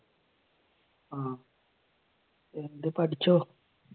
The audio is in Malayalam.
അഹ് എന്നിട്ട് പഠിച്ചോ?